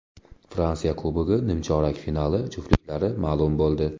Fransiya Kubogi nimchorak finali juftliklari ma’lum bo‘ldi .